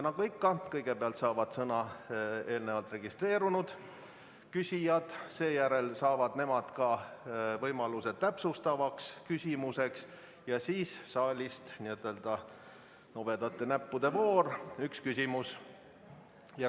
Nagu ikka, kõigepealt saavad sõna eelnevalt registreerunud küsijad, seejärel saavad nemad võimaluse ka täpsustavaks küsimuseks ja siis on saalis n-ö nobedate näppude voor, kus saab esitada ühe küsimuse.